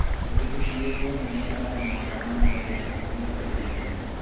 toliki siiyie iyiook naipirare maandamano oo ilpolisi mintoki aare iyiok